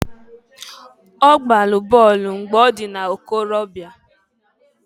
Ọ gbalụ bọolụ mgbe ọ dị n'ikorobịa.